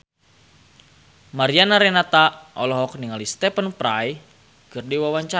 Mariana Renata olohok ningali Stephen Fry keur diwawancara